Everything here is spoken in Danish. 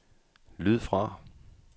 lyd fra